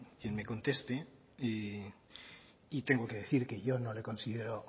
quien me conteste y tengo que decir que yo no le considero